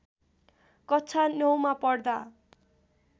कक्षा ९ मा पढ्दा